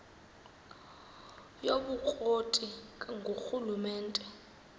yobukro ti ngurhulumente